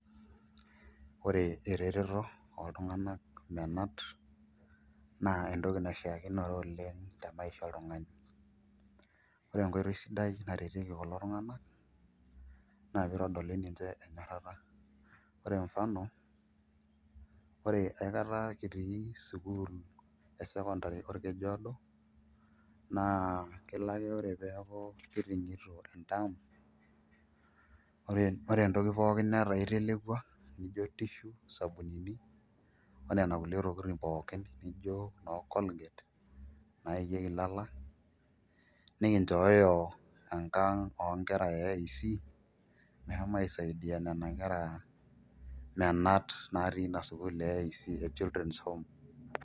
Ore ereteto oltung'anak menat naa entoki naishiakinore oleng' te maisha oltung'ani, ore enkoitoi sidai naretieki kulo tung'anak naa piitodoli ninche enyorrata ore mfano ore aikata kitii sukuul e secondary orkeju oodo naa kelo ake ore pee eeku kiting'ito enterm, ore entoki pookin netaa itelekua nijio tissue, isabunini o nena kulie tokitin pookin nijio noo colgate naikieki ilala nikinchooyo enkang' oonkera e AIC meshomo aisaidia nena kera menat naatii ina sukuul e AIC e children home.